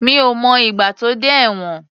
Mi ò mọ ìgbà tó dé ẹ̀wọ̀n.